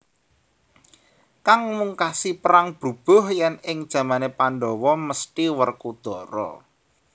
Kang mungkasi perang brubuh yen ing jamane Pandhawa mesthi Werkudara